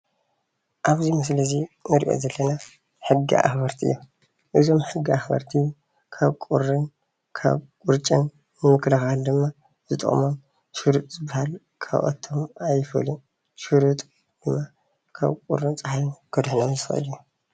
ካብዚ ምስሊ እዙይ እንሪኦ ዘለና ሕጊ ኣኽበርቲ እዮም። እዞም ሕጊ ኣኽበርቲ ካብ ቁርን ካብ ወርጭን ንምክልኻል ድማ ዝጠቕሞሞ ሸርጥ ዝበሃል ካብኣቶም ኣይፈልዩን። ሽርጥ ካብ ቁርን ፀሓይን ከድሕኖም ዝኽእል እዩ።